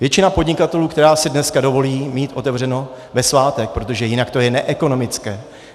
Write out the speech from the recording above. Většina podnikatelů, která si dneska dovolí mít otevřeno ve svátek, protože jinak je to neekonomické.